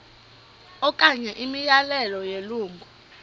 okanye imiyalelo yelungu